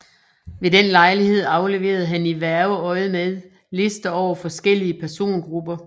Ved den lejlighed afleverede han i hverveøjemed lister over forskellige persongrupper